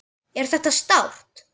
Er þetta sárt?